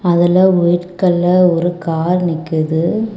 அதுல white colour ஒரு car நிக்குது.